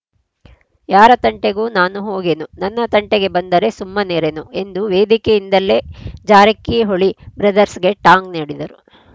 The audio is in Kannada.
ಯಾರ ತಂಟೆಗೂ ನಾನು ಹೋಗೆನು ನನ್ನ ತಂಟೆ ಬಂದರೆ ಸುಮ್ಮನಿರೆನು ಎಂದು ವೇದಿಕೆಯಿಂದಲೇ ಜಾರಕಿಹೊಳಿ ಬ್ರದರ್‍ಸ್ಗೆ ಟಾಂಗ್‌ ನೀಡಿದರು